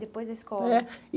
Depois da escola. É.